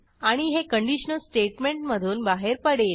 आणि हे कंडिशनल स्टेटमेंटमधून बाहेर पडेल